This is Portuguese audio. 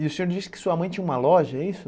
E o senhor disse que sua mãe tinha uma loja, é isso?